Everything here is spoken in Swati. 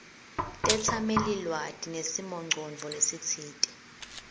tetsamelilwati nesimongcondvo lesitsite